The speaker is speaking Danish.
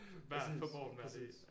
Præcis præcis